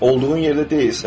Olduğun yerdə deyilsən.